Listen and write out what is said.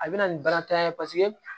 A bɛ na nin bana tan ye paseke